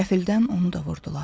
Qəfildən onu da vurdular.